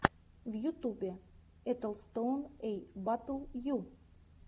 в ютубе этостоун эй дабл ю